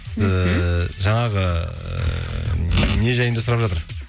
ііі жаңағы ыыы не жайында сұрап жатыр